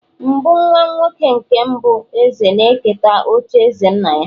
mbụ nwa-nwoke nke mbụ eze na-eketa ocha eze nna-ya